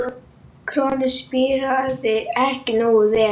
Kornið spíraði ekki nógu vel.